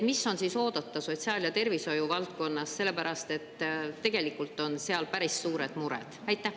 Mis on siis oodata sotsiaal- ja tervishoiuvaldkonnas, sellepärast et tegelikult on seal päris suured mured?